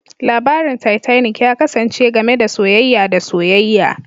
Labarin Titanic ya kasance game da soyayya da soyayya